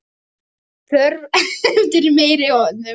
Þessi þörf eftir meiri hönnun.